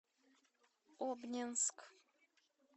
обнинск